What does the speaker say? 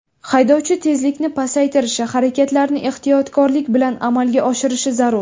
Haydovchi tezlikni pasaytirishi, harakatlarni ehtiyotlik bilan amalga oshirishi zarur .